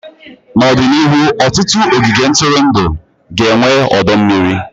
N'ọdịnihu, ọtụtụ ogige ntụrụndụ ga-enwe ọdọ mmiri.